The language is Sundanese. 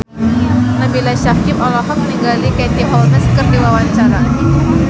Nabila Syakieb olohok ningali Katie Holmes keur diwawancara